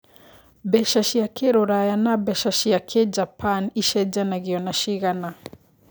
mbeca cia kĩrũraya na mbeca cia kĩjapan ĩcejanagio na cigana